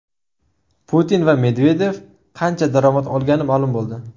Putin va Medvedev qancha daromad olgani ma’lum bo‘ldi.